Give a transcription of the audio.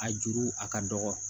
A juru a ka dɔgɔ